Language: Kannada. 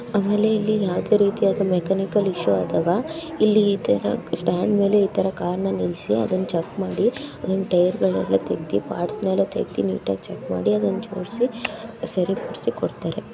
ಆಮೇಲೆ ಇಲ್ಲಿ ಯಾವದೆ ರೀತಿ ಮೆಕ್ಯಾನಿಕಲ್ ಇಶ್ಯೂ ಆದಾಗ ಇಲ್ಲಿ ಇತರ ಸ್ಟಾಂಡ್ ಮೇಲೆ ಈತರ ಕಾರ್ ನ ನಿಲ್ಸಿ ಟೈಯರ್ ಗಳೆಲ್ಲ ತೆಗ್ದಿ ಪಾರ್ಟ್ಸ್ ನೆಲ್ಲ ತೆಗ್ದಿ ಮಾಡಿ ಅದನ ಜೋಡ್ಸಿ ಸರಿಮಾಡಿಸಿ ಕೊಡ್ತಾರೆ.